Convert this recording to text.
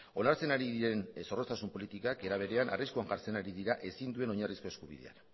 onartzen ari diren zorroztasun politikak era berean arriskuan jartzen ari dira ezin duen oinarrizko eskubidea